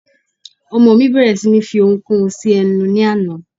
Ọmọ mí bẹ̀rẹ̀ sí ní fi oun kóun sí ẹnu ní àná